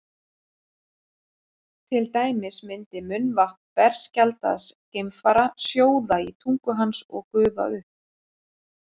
til dæmis myndi munnvatn berskjaldaðs geimfara sjóða á tungu hans og gufa upp